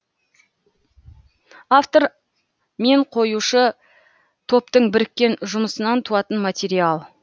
автор мен қоюшы топтың біріккен жұмысынан туатын материал